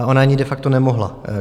A ona ani de facto nemohla.